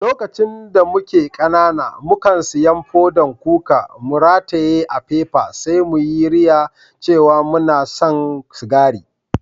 Lokacin da muke kanana, mu kan siyan fodan kuka, mu ratayye a'fefa sai mu yi riya cewa muna san sigari.